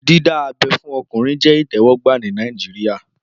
Dídá abẹ́ fún ọkùnrin jẹ́ ìtẹ́wọ́gbà ní Nàìjíríyà